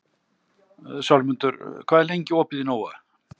Sölmundur, hvað er lengi opið í Nova?